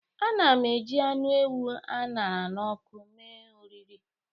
Ana m eji anụ ewu a ṅara n'ọkụ mee oriri